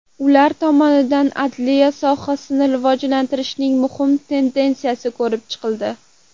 Ular tomonidan adliya sohasini rivojlantirishning muhim tendensiyalari ko‘rib chiqildi.